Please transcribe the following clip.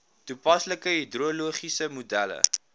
toepaslike hidrologiese modelle